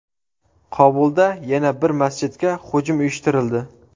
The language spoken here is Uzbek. Kobulda yana bir masjidga hujum uyushtirildi.